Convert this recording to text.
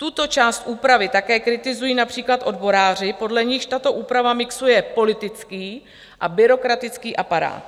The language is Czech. Tuto část úpravy také kritizují například odboráři, podle nichž "takto úprava mixuje politický a byrokratický aparát.